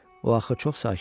O axı çox sakit idi.